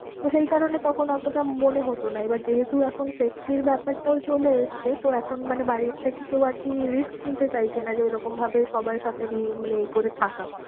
তো সেই কারণে তখন অতটা মনে হতো না। এবার যেহেতু এখন safety র ব্যাপারটাও চলে এসছে তো এখন মানে বাড়িতে থেকে কেউ আর কি risk নিতে চাইছে না। যে ওই রকম ভাবে সবার সাথে মানে এ করে থাকা।